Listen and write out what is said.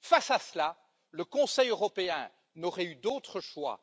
Face à cela, le Conseil européen n'aurait eu d'autre choix